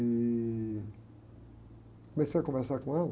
E comecei a conversar com ela.